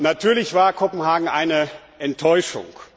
Natürlich war Kopenhagen eine Enttäuschung.